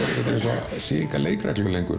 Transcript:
séu engar leikreglur lengur